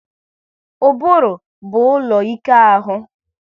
Ụbụrụ bụ ụlọ ike ahụ